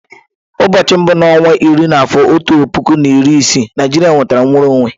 Ụbọọchi mbu na onwa iri n'afọ otu puku na iri isii, Naijiria nwetara nnwere onwe.